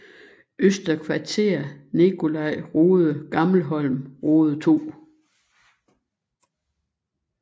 Øster Kvarter Nicolai Rode Gammelholm Rode 2